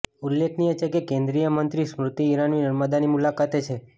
ઉલ્લેખનીય છે કે કેન્દ્રીય મંત્રી સ્મૃતિ ઈરાની નર્મદાની મુલાકાતે છે